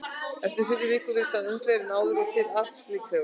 En fyrir vikið virðist hann unglegri en áður og til alls líklegur.